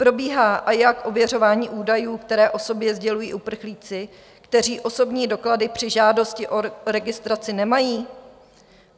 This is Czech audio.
Probíhá, a jak, ověřování údajů, které o sobě sdělují uprchlíci, kteří osobní doklady při žádosti o registraci nemají?